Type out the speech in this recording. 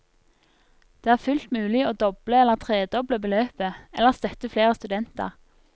Det er fullt mulig å doble eller tredoble beløpet, eller støtte flere studenter.